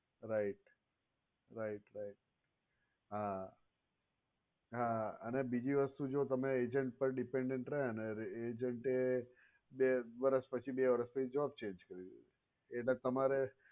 right right right હા હા અને બીજુ વસ્તુ જો તમે agent પર dependent રહે અને એ agent બે વર્ષ પછી બે વર્ષ પછી job change કરી એટલે તમારે